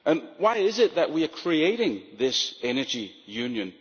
Why is it that we are creating this energy union?